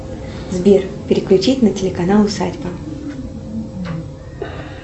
сбер переключить на телеканал усадьба